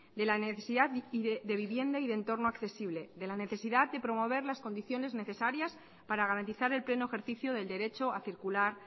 de la necesidad de vivienda y entorno accesible de la necesidad de promover las condiciones necesarias para garantizar el pleno ejercicio del derecho a circular